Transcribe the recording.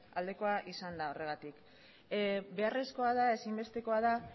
aldekoa izan da horregatik beharrezkoa da ezinbestekoa da